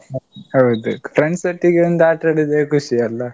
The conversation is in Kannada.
ಹೌದು. friends ಒಟ್ಟಿಗೆ ಒಂದು ಆಟಾಡೋದೇ ಖುಷಿ ಅಲ್ಲಾ.